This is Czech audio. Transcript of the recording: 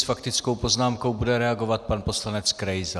S faktickou poznámkou bude reagovat pan poslanec Krejza.